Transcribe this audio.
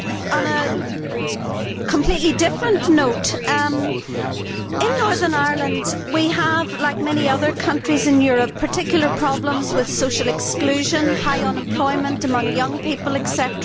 On a completely different note, in Northern Ireland we have, like many other countries in Europe, particular problems with social exclusion, high unemployment among young people, etc.